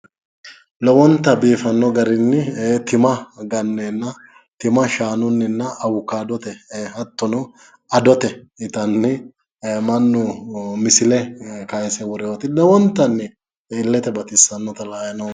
Lowonta biifano garinni tima gannenna mannu awukadotenni ittanni nootta la"anni noommo